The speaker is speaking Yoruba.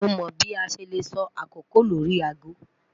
Mo mọ bi a ṣe le sọ akoko lori aago